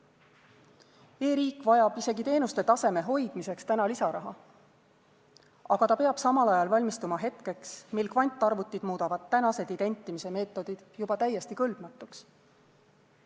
E-riik vajab isegi teenuste taseme hoidmiseks täna lisaraha, aga ta peab samal ajal valmistuma hetkeks, mil kvantarvutid muudavad tänased identimise meetodid juba täiesti kõlbmatuks.